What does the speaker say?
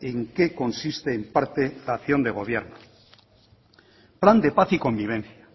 en que consiste en parte la acción de gobierno plan de paz y convivencia